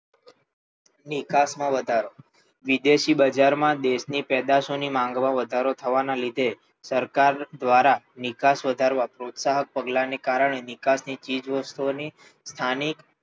નિકાસમાં વધારો વિદેશી બજારમાં દેશની પેદાશોની માંગમાં વધારો થવાના લીધે સરકાર દ્વારા નિકાસ વધારવાના પ્રોત્સાહક પગલાંને કારણે નિકાસની ચીજ વસ્તુઓની સ્થાનિક